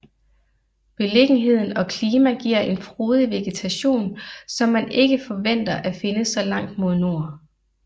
Beliggenheden og klima giver en frodig vegetation som man ikke forventer at finde så langt mod nord